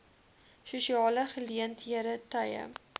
sosiale geleenthede tye